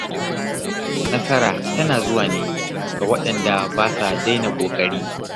Nasara tana zuwa ne ga waɗanda ba sa daina ƙoƙari.